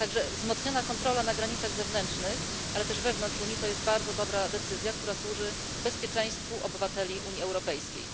Dlatego wzmocniona kontrola na granicach zewnętrznych, ale też wewnątrz Unii, to bardzo dobra decyzja, która służy bezpieczeństwu obywateli Unii Europejskiej.